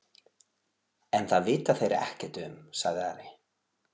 En það vita þeir ekkert um, sagði Ari.